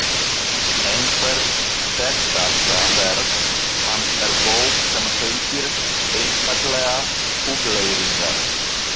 Eitthvert þekktasta verk hans er bók sem heitir einfaldlega Hugleiðingar.